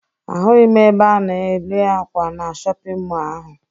Ahụghị m ebe a na-erw ákwà na shọpịn mọọ ahụ